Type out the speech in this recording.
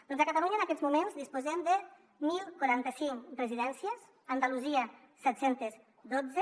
doncs a catalunya en aquests moments disposem de deu quaranta cinc residències a andalusia set cents i dotze